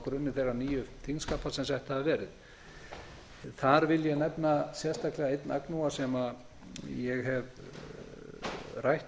grunni þeirra nýju þingskapa sem sett hafa verið þar vil ég nefna sérstaklega einn agnúa sem ég hef rætt